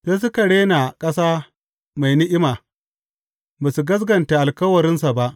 Sai suka rena ƙasa mai ni’ima; ba su gaskata alkawarinsa ba.